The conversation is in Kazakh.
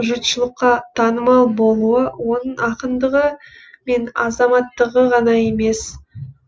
жұртшылыққа танымал болуы оның ақындығы мен азаматтығы ғана емес